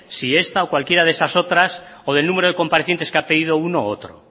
si esta o cualquiera de esas otras o del número de comparecientes que ha pedido uno u otro